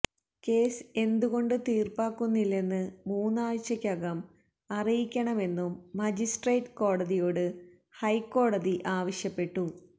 case എന്തുകൊണ്ട് തീര്പ്പാക്കുന്നില്ലെന്ന് മൂന്നാഴ്ചയ്ക്കകം അറിയിക്കണമെന്നും മജിസട്രേറ്റ് കോടതിയോട് ഹൈക്കോടതി ആവശ്യപ്പെട്ടു